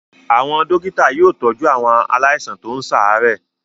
Àwọn dọ́kítá yóò tọ́jú àwọn àwọn aláìsàn tó ń ṣàárẹ̀.